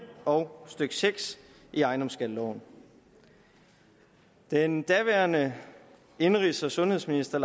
og stykke seks i ejendomsskatteloven da den daværende indenrigs og sundhedsminister